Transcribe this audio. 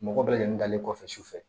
Mɔgɔ bɛɛ lajɛlen dalen kɔfɛ sufɛ